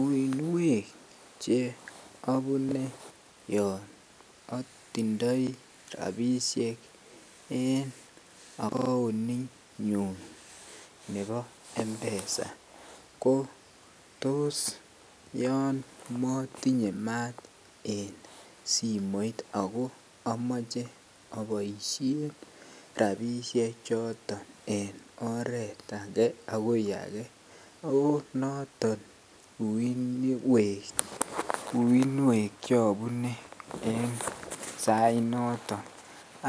Uinywek cheobune yoon otindoi rabishek en aaccount inyun nebo mpesa ko toos yoon motinye maat en simoit ak ko omoche oboishen rabishe choton en oreet akee akoi akee ak ko noton uinwek chobune en sainoton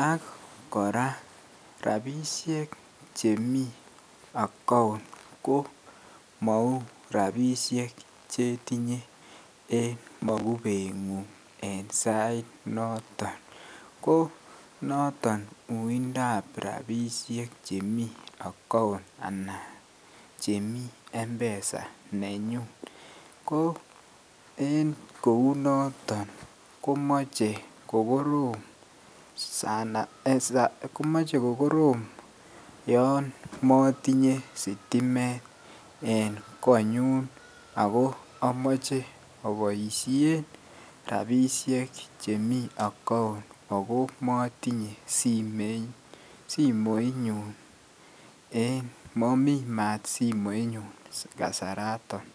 akkora rabishek chemii account ko mouu rabishek chetinye en mokubengung en sainoton ko noton uindab rabishek chemii account anan chemii mpesa nenyun, ko en kounoton komoche kokorom yoon motinye sitimet en konyun ak ko amoche aboishen rabishek chemii account akomotinye simoinyun momii maat simoinyun kasaraton.